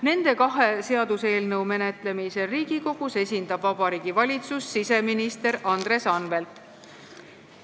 Nende kahe seaduseelnõu menetlemisel Riigikogus esindab Vabariigi Valitsust siseminister Andres Anvelt.